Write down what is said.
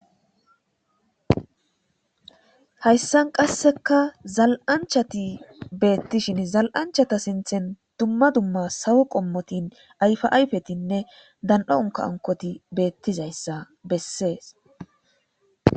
Hayssan qasseka zal7anchati beettishin zal7anchata sinthen dumma dumma sawo qommotin ayfaayfetinne dan7aonka ankoti beettizayssa bessees